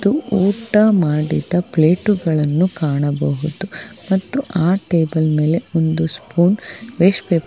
ಊಟ ಮಾಡಿದ ಪ್ಲೇಟುಗಳನ್ನು ಕಾಣಬಹುದು ಮತ್ತು ಆ ಟೇಬಲ್ ಮೇಲೆ ಒಂದು ಸ್ಪೂನ್ ವೇಸ್ಟ್ ಪೇ